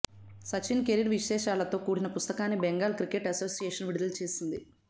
Sachin career విశేషాలతో కూడిన పుస్తకాన్ని బెంగాల్ క్రికెట్ అసోసియేషన్ విడుదల చేసింది